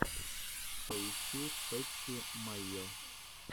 поищи пэтти майо